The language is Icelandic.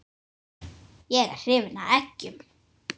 Ég er hrifinn af eggjum.